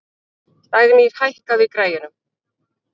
Dagnýr, hækkaðu í græjunum.